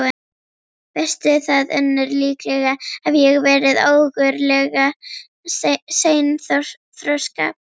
Veistu það, Unnur, líklega hef ég verið ógurlega seinþroska.